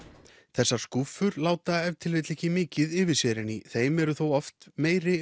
þessar skúffur láta ef til vill ekki mikið yfir sér en í þeim eru þó oft meiri